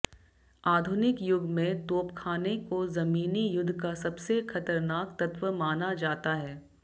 आधुनिक युग में तोपख़ाने को ज़मीनी युद्ध का सबसे ख़तरनाक तत्व माना जाता है